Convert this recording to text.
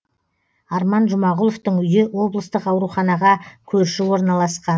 арман жұмағұловтың үйі облыстық ауруханаға көрші орналасқан